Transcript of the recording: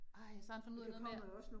Ej, og så har han fundet ud af noget med